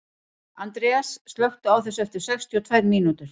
Andreas, slökktu á þessu eftir sextíu og tvær mínútur.